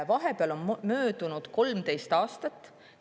Vahepeal on möödunud 13 aastat.